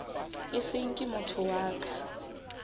e seng ke motho wa